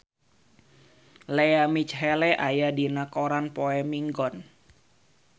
Lea Michele aya dina koran poe Minggon